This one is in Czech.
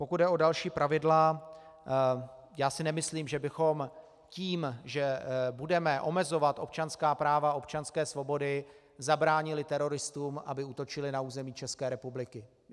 Pokud jde o další pravidla, já si nemyslím, že bychom tím, že budeme omezovat občanská práva, občanské svobody, zabránili teroristům, aby útočili na území České republiky.